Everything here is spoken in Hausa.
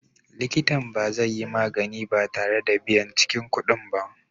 Likita ba zai yi magani ba tare da biyan cikin kuɗin ba.